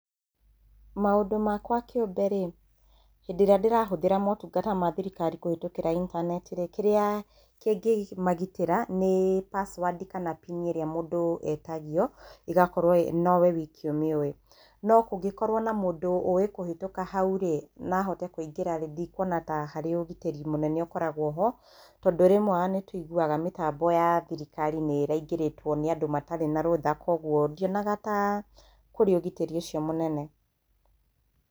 Maũndũ makwa kĩũmbe rĩ, hĩndĩ ĩrĩa ndĩrahũthĩra maũtungata ma thirikari kũhĩtũkira intaneti rĩ, kĩrĩa kingĩmagitĩra nĩ password kana PIN ĩrĩa mũndũ etagio, ĩgakorwo no we wiki ũmĩũĩ. No kũngĩkorwo na mũndũ ũĩ kũhĩtũka hau rĩ, na ahote kũingĩra rĩ, ndikuona ta harĩ ũgitĩri mũnene ũkoragwo ho, tondũ rĩmwe o na nĩ tũiguaga mĩtambo ya thirikari nĩ ĩraingĩrĩtwo na andũ matarĩ na rũtha. Kwoguo ndionaga ta kũrĩ ũgitĩri ũcio mũnene.